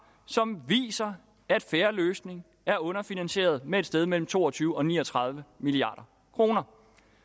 som viser at fair løsning er underfinansieret med et sted mellem to og tyve og ni og tredive milliard kroner